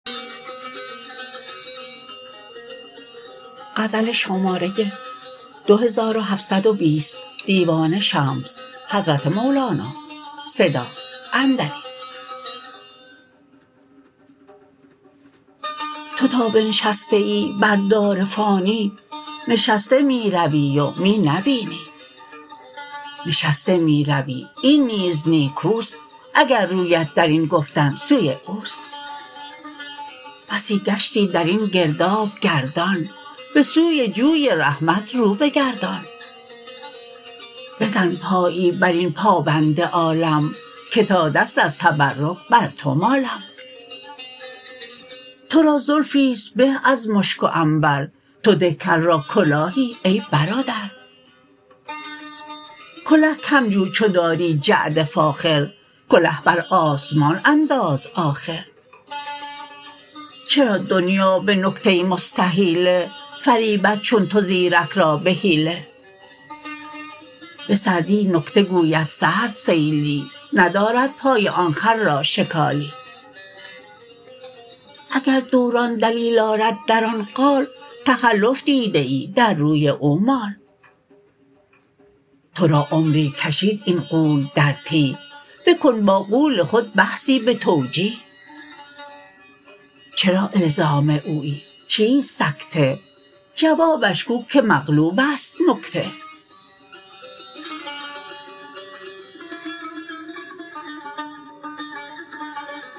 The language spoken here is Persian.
تو تا بنشسته ای بر دار فانی نشسته می روی و می نبینی نشسته می روی این نیز نیکو است اگر رویت در این گفتن سوی او است بسی گشتی در این گرداب گردان به سوی جوی رحمت رو بگردان بزن پایی بر این پابند عالم که تا دست از تبرک بر تو مالم تو را زلفی است به از مشک و عنبر تو ده کل را کلاهی ای برادر کله کم جو چو داری جعد فاخر کله بر آسمان انداز آخر چرا دنیا به نکته مستحیله فریبد چون تو زیرک را به حیله به سردی نکته گوید سرد سیلی نداری پای آن خر را شکالی اگر دوران دلیل آرد در آن قال تخلف دیده ای در روی او مال تو را عمری کشید این غول در تیه بکن با غول خود بحثی به توجیه چرا الزام اویی چیست سکته جوابش گو که مقلوب است نکته